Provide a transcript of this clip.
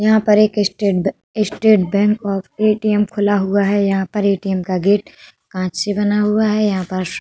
यहाँ पर एक state bank state bank of ATM. खुला हुआ है यहाँ पर ए.टी.एम. का गेट कांच से बना हुआ है यहाँ पर --